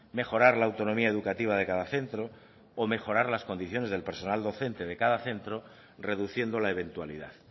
mejorar la autonomía educativa de cada centro o mejorar las condiciones del personal docente de cada centro reduciendo la eventualidad